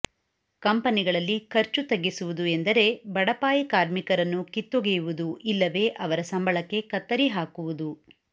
ಕಂಪನಿಗಳಲ್ಲಿ ಖರ್ಚು ತಗ್ಗಿಸುವುದು ಎಂದರೆ ಬಡಪಾಯಿ ಕಾರ್ಮಿಕರನ್ನು ಕಿತ್ತೊಗೆಯುವುದು ಇಲ್ಲವೇ ಅವರ ಸಂಬಳಕ್ಕೆ ಕತ್ತರಿ ಹಾಕುವುದು